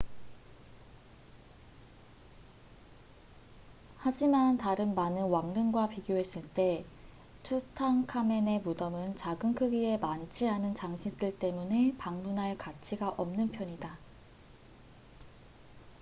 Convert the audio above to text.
하지만 다른 많은 왕릉과 비교했을 때 투탕카멘의 무덤은 작은 크기에 많지 않은 장식들 때문에 방문할 가치가 없는 편이다